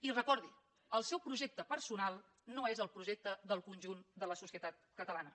i recordi ho el seu projecte personal no és el projecte del conjunt de la societat catalana